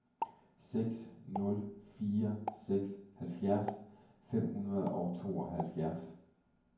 seks nul fire seks halvfjerds fem hundrede og tooghalvfjerds